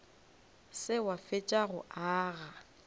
se wa fetša go aga